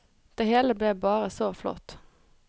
Det hele ble bare så flott.